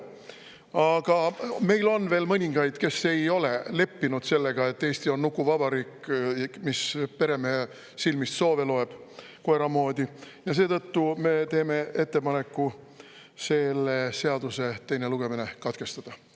Aga meil on veel mõningaid, kes ei ole leppinud sellega, et Eesti on nukuvabariik, mis peremehe silmist soove loeb koera moodi, ja seetõttu me teeme ettepaneku selle seaduse teine lugemine katkestada.